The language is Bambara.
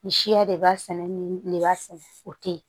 Nin siya de b'a sɛnɛ nin de b'a sɛnɛ o tɛ ye